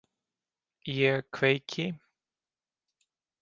Ég kveiki.